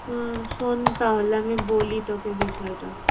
আহ শোন তাহলে আমি বলি তোকে বিষয়টা।